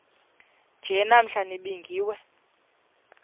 nje namhla nibingiwe